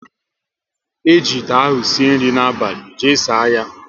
Eji ite ahụ sie nri abalị, jee saa ya!